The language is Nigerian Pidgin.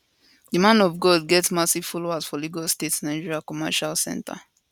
di man of god get massive following for lagos state nigeria commericial centre